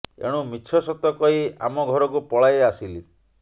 ଏଣୁ ମିଛ ସତ କହି ଆମ ଘରକୁ ପଳାଇ ଆସିଲି